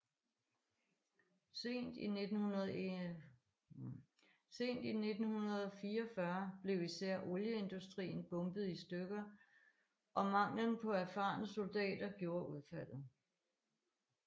Sent i 1944 blev især olieindustrien bombet i stykker det og manglen på erfarne soldater gjorde udfaldet